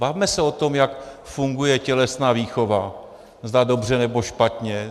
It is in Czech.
Bavme se o tom, jak funguje tělesná výchova, zda dobře, nebo špatně.